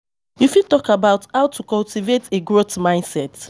You fit talk about how to cultivate a growth mindset.